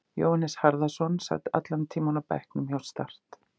Jóhannes Harðarson sat allan tímann á bekknum hjá Start.